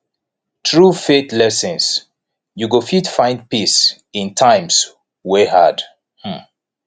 thru faith lessons yu go fit find peace in times wey hard um